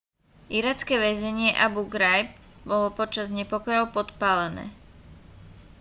iracké väzenie abu ghraib bolo počas nepokojov podpálené